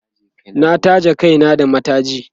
na taje Kai na da mataji